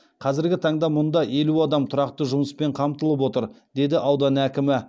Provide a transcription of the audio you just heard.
қазіргі таңда мұнда елу адам тұрақты жұмыспен қамтылып отыр деді аудан әкімі